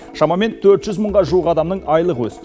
шамамен төрт жүз мыңға жуық адамның айлығы өсті